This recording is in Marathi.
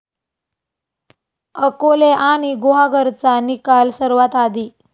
अकोले आणि गुहागरचा निकाल सर्वात आधी?